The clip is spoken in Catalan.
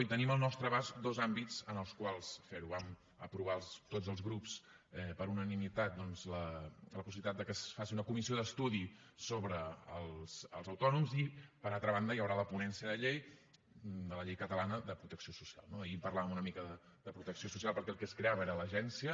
i tenim al nostre abast dos àmbits en els quals fer ho vam aprovar tots els grups per unanimitat la possibilitat que es faci una comissió d’estudi sobre els autònoms i per altra banda hi haurà la ponència de llei de la llei catalana de protecció social no ahir en parlàvem una mica de protecció social perquè el que es creava era l’agència